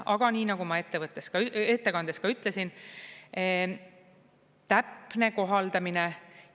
Aga nii nagu ma ettekandes ka ütlesin, täpne kohaldamine …